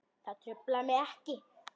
Það truflar mig ekki.